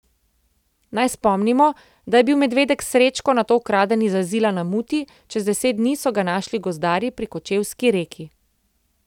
Naj spomnimo, da je bil medvedek Srečko nato ukraden iz azila na Muti, čez deset dni so ga našli gozdarji pri Kočevski Reki.